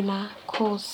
ina course.